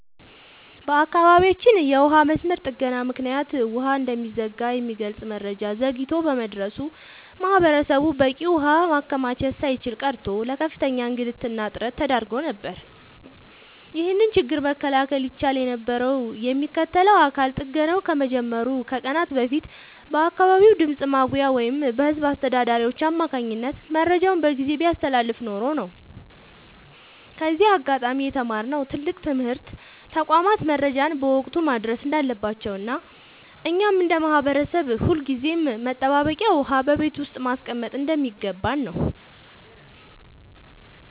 በአካባቢያችን የውሃ መስመር ጥገና ምክንያት ውሃ እንደሚዘጋ የሚገልጽ መረጃ ዘግይቶ በመድረሱ ማህበረሰቡ በቂ ውሃ ማከማቸት ሳይችል ቀርቶ ለከፍተኛ እንግልትና እጥረት ተዳርጎ ነበር። ይህንን ችግር መከላከል ይቻል የነበረው የሚመለከተው አካል ጥገናው ከመጀመሩ ከቀናት በፊት በአካባቢው ድምፅ ማጉያ ወይም በህዝብ አስተዳዳሪዎች አማካኝነት መረጃውን በጊዜ ቢያስተላልፍ ኖሮ ነው። ከዚህ አጋጣሚ የተማርነው ትልቅ ትምህርት ተቋማት መረጃን በወቅቱ ማድረስ እንዳለባቸውና እኛም እንደ ማህበረሰብ ሁልጊዜም መጠባበቂያ ውሃ በቤት ውስጥ ማስቀመጥ እንደሚገባን ነው።